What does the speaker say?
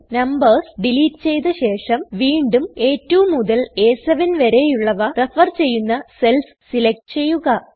numbers delete ചെയ്ത ശേഷം വീണ്ടും അ2 മുതൽ അ7 വരെയുള്ളവ റഫർ ചെയ്യുന്ന സെൽസ് സെലക്ട് ചെയ്യുക